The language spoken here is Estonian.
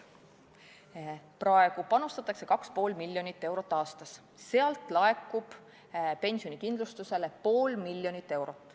Praegu panustatakse 2,5 miljonit eurot aastas, sealt laekub pensionikindlustusele pool miljonit eurot.